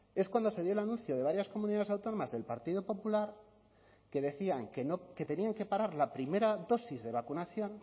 es cuando se dio el anuncio de varias comunidades autónomas del partido popular que decían que tenían que parar la primera dosis de vacunación